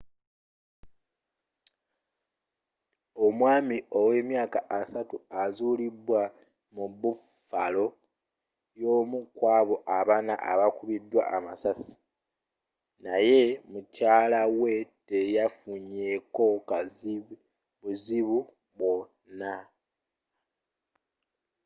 omwami owe emyaka 30 azalibwa mu buffalo y’omu kwabo abanna abakubiddwa amasasi naye mukyala we teyafunye ko buzibu bwona